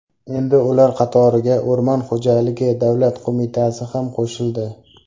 Endi ular qatoriga O‘rmon xo‘jaligi davlat qo‘mitasi ham qo‘shildi.